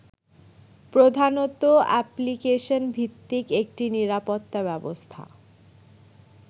প্রধানত অ্যাপ্লিকেশনভিত্তিক একটি নিরাপত্তা ব্যবস্থা